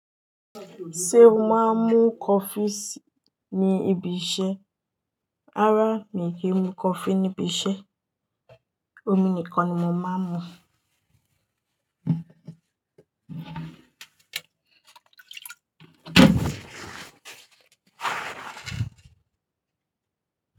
Ṣé o máa ń mú kofi sí ní ibi iṣẹ́? Rárá mi ò kí ń mú kofi níbi iṣẹ́, omi nìkan ni mo máa ń mú.